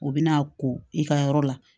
U bɛ n'a ko i ka yɔrɔ la